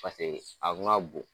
Paseke a ma bɔn.